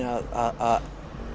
að